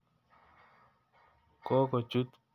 Kokochut piik che chang' polotet.